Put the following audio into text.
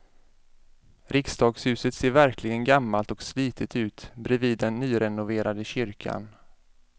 Riksdagshuset ser verkligen gammalt och slitet ut bredvid den nyrenoverade kyrkan.